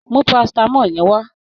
Mú paracetamol yẹn wá.